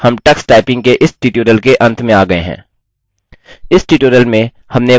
इसी के साथ हम tux typing के इस ट्यूटोरियल के अंत में आ गये हैं